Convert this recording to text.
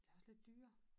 Det også lidt dyr